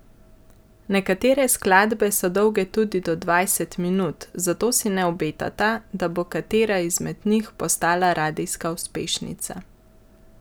Nekatere skladbe so dolge tudi do dvajset minut, zato si ne obetata, da bo katera izmed njih postala radijska uspešnica.